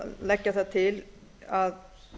leggja það til að